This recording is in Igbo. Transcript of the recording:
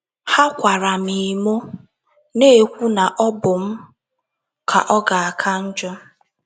Ha kwara m emo, na - ekwu na ọ bụ m ka ọ ga - aka njọ.